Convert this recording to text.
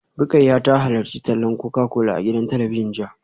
Rukayyah ta halarci tallar Coca-Cola a gidan talabijin jiya